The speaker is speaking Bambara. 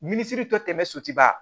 Minisiri dɔ tɛ tɛmɛ soba